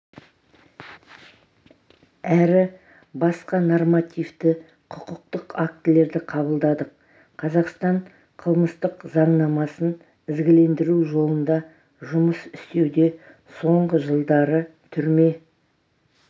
әрі басқа нормативті-құқықтық актілерді қабылдадық қазақстан қылмыстық заңнамасын ізгілендіру жолында жұмыс істеуде соңғы жылдары түрме